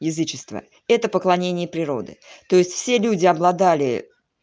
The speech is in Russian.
язычество это поклонение природы то есть все люди обладали